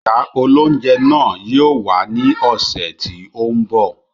Ìyá óloúnjẹ náà yìí ó wá ní ọ̀sẹ̀ tí ó ń bọ̀